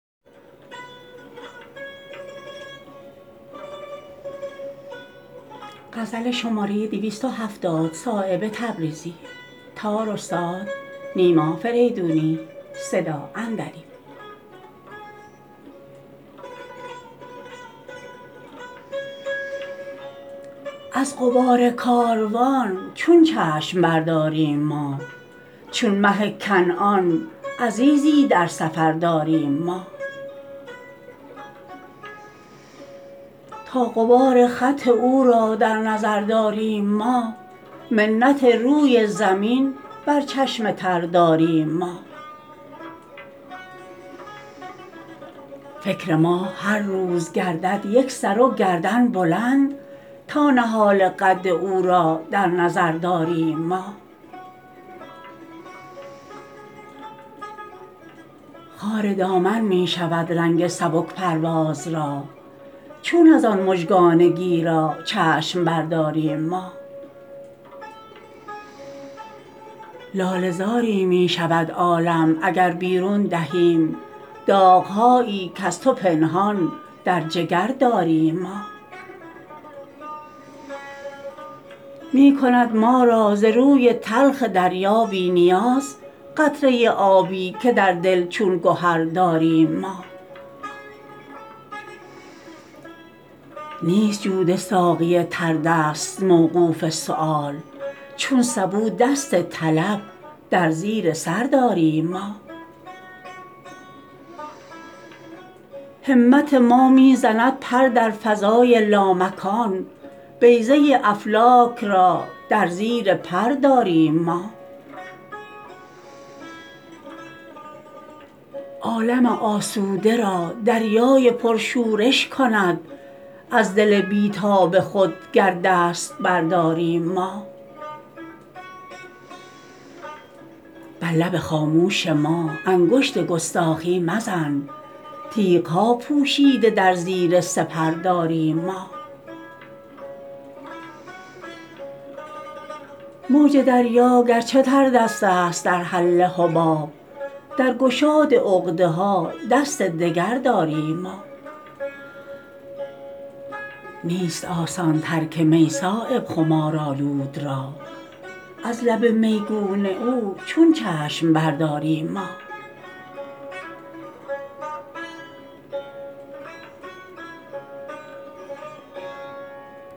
از غبار کاروان چون چشم برداریم ما چون مه کنعان عزیزی در سفر داریم ما تا غبار خط او را در نظر داریم ما منت روی زمین بر چشم تر داریم ما فکر ما هر روز گردد یک سر و گردن بلند تا نهال قد او را در نظر داریم ما خار دامن می شود رنگ سبک پرواز را چون ازان مژگان گیرا چشم برداریم ما لاله زاری می شود عالم اگر بیرون دهیم داغهایی کز تو پنهان در جگر داریم ما می کند ما را ز روی تلخ دریا بی نیاز قطره آبی که در دل چون گهر داریم ما نیست جود ساقی تردست موقوف سؤال چون سبو دست طلب در زیر سر داریم ما همت ما می زند پر در فضای لامکان بیضه افلاک را در زیر پر داریم ما عالم آسوده را دریای پرشورش کند از دل بی تاب خود گر دست برداریم ما بر لب خاموش ما انگشت گستاخی مزن تیغ ها پوشیده در زیر سپر داریم ما موج دریا گرچه تردست است در حل حباب در گشاد عقده ها دست دگر داریم ما نیست آسان ترک می صایب خمارآلود را از لب میگون او چون چشم برداریم ما